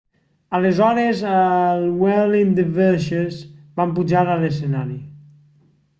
aleshores els whirling dervishes van pujar a lescenari